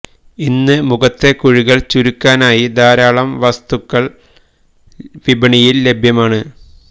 ഇന്ന് മുഖത്തെ കുഴികൾ ചുരുക്കാനായി ധാരാളം വസ്തുക്കൾ വിപണിയിൽ ലഭ്യമാണ്